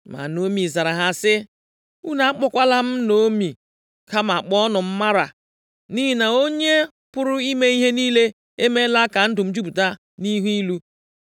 Ma Naomi zara ha sị, “Unu akpọkwala m Naomi, kama kpọọnụ m Mara, nʼihi na Onye pụrụ ime ihe niile emeela ka ndụ m jupụta nʼihe ilu.